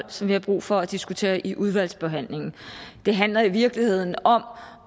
som vi har brug for at diskutere i udvalgsbehandlingen det handler i virkeligheden om